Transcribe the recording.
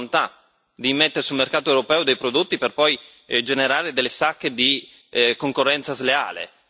o una volontà di immettere sul mercato europeo dei prodotti per poi generare delle sacche di concorrenza sleale.